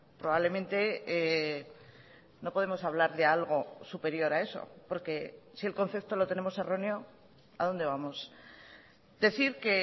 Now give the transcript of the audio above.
probablemente no podemos hablar de algo superior a eso porque si el concepto lo tenemos erróneo a dónde vamos decir que